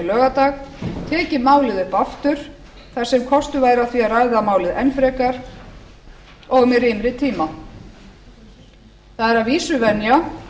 laugardag tekið málið upp aftur þar sem kostur væri á því að ræða málið enn frekar og með rýmri tíma það er að vísu venja